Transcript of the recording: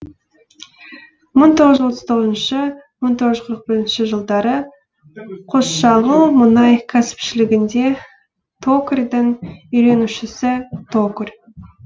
мың тоғыз жүз отыз тоғызыншы мың тоғыз жүз қырық бірінші жылдары қосшағыл мұнай кәсіпшілігінде токарьдің үйренушісі токарь